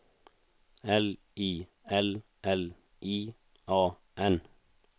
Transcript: L I L L I A N